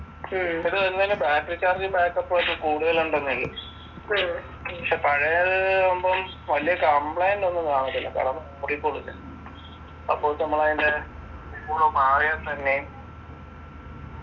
ഇത് ഇങ്ങനെ battery charge ഉം back up ഉ ഒക്കെ കൂടുതലുണ്ടെന്നെ ഇല്ലു പക്ഷെ പഴയത് ആവുമ്പം വലിയ complaint ഒന്നും കാണത്തില്ല അപ്പൊ നമ്മളതിൻ്റെ മാറിയാ തന്നെ